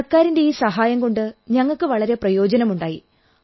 സർക്കാരിന്റെ ഈ സഹായം കൊണ്ട് ഞങ്ങൾക്കു വളരെ പ്രയോജനമുണ്ടായി